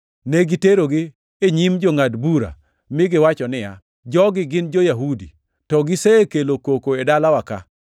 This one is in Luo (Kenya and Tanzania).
Negiterogi e nyim jongʼad bura, mi giwacho niya, “Jogi gin jo-Yahudi, to gisekelo koko e dalawa-ka,